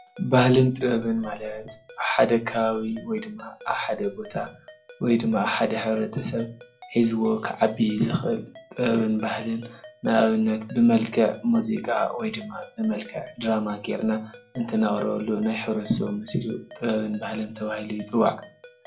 ባህልን ጥበብን ማለት ኣብ ሓደ ከባቢ ወይድማ ኣብ ሓደ ቦታ ወይድማ አብ ሓደ ሕብረተ ሰብ ሒዝዎ ክዓቢ ዝክእል ጥበብን ባህልን ንአብነት ብመልክዕ ሙዚቃ ወይድማ ብመልክዕ ድራማ ጌርካ እንትነቅርበሉ ናይ ሕብረተ ሰብ ጥበብን ባህልን ተባሂሉ ይፅዋዕ፡፡